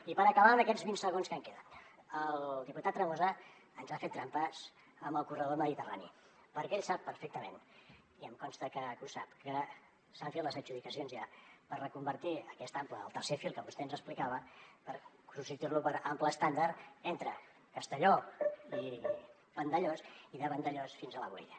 i per acabar en aquests vint segons que em queden el diputat tremosa ens ha fet trampes amb el corredor mediterrani perquè ell sap perfectament i em consta que ho sap que s’han fet les adjudicacions ja per reconvertir aquest ample el tercer fil que vostè ens explicava per substituir lo per ample estàndard entre castelló i vandellòs i de vandellòs fins a la boella